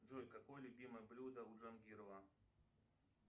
джой какое любимое блюдо у джангирова